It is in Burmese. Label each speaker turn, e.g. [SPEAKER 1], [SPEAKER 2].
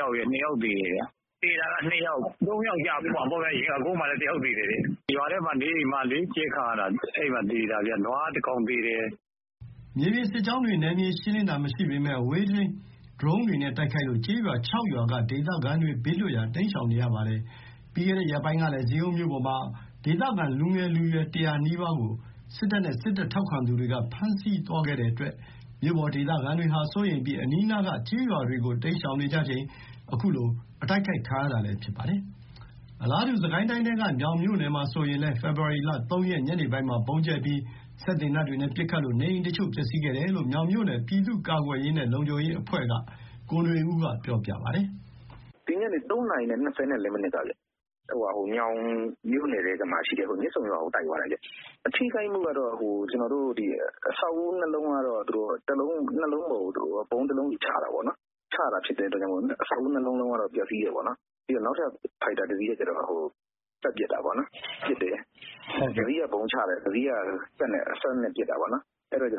[SPEAKER 1] ယောက်ရယ် ၂ ယောက်သေတယ်။ သေတာက ၃ ယောက်ကျမှာပေါ့။ သရက်ကုန်းမှာလည်း ၁ ယောက်သေတယ်။ ရွာထဲမှာ နေအိမ်မှာနေရင်း ကြဲခံရတာ။ နွား ၁ ကောင်သေတယ်။
[SPEAKER 2] " မြေပြင်စစ်ကြောင်းတွေ နယ်မြေရှင်းလင်းတာ မရှိပေမယ့် အဝေးထိန်း ဒရုန်းတွေနဲ့ တိုက်ခိုက်လို့ ကျေးရွာ ၆ ရွာက ဒေသခံတွေ ဘေးလွတ်ရာ တိမ်းရှောင်နေရပါတယ်။ ပြီးခဲ့တဲ့ ရက်ပိုင်းကလည်း ဇီးကုန်းမြို့ပေါ်မှာ ဒေသခံလူငယ်လူရွယ် ၁၀၀ နီးပါးကို စစ်တပ်နဲ့ စစ်တပ်ထောက်ခံသူတွေက ဖမ်းဆီးသွားတဲ့အတွက် မြို့ပေါ် ဒေသခံတွေဟာ စိုးရိမ်ပြီး အနီးနားက ကျေးရွာတွေကို တိမ်းရှောင်ကြချိန် အခုလို တိုက်ခိုက်ခံရတာလည်း ဖြစ်ပါတယ်။ အလားတူ စစ်ကိုင်းတိုင်းထဲကပဲ မြောင်မြို့နယ်မှာဆိုရင်လည်း ဖေဖော်ဝါရီ ၃ ရက် ညနေပိုင်းမှာ ဗုံးကြဲပြီး စက်သေနတ်တွေနဲ့ ပစ်ခတ်လို့ နေအိမ်အချို့ ပျက်စီးခဲ့တယ်လို့ မြောင်မြို့နယ် ပြည်သူ့ကာကွယ်ရေးနဲ့ လုံခြုံရေးအဖွဲ့က ကိုနွေဦးက ပြောပါတယ်။
[SPEAKER 3] "ဒီညနေ ၃ နာရီ ၂၄ မိနစ်ကခင်ဗျ။ မြောင်မြို့နယ်ထဲမှာရှိတဲ့ မြစ်ဆုံရွာကို တိုက်သွားတာ။ အထိခိုက်ကတော့ အဆောက်အဦး ၂ လုံးကတော့ ၂ လုံးပေါ်ကို ဗုံး ၁ လုံးဆီ ချတာပေါ့နော်။ ချတာဖြစ်လို့ အဆောက်အဦး ၂ လုံးလုံးကတော့ ပျက်စီးတယ်ပေါ့နော်။ နောက်ထပ် ဖိုက်တာ ၁ စီးကတော့ ပတ်ပစ်တာပေါ့နော်။ ၁ စီးက ဗုံးချတယ်။ ၁ စီးက စက်သေနတ်နဲ့ ပစ်တာပေါ့နော်။ အဆောက်အဦးထဲ